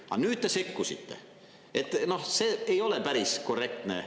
Aga nüüd te sekkusite, see ei ole päris korrektne.